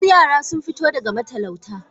Wasu yara sun fito daga matalauta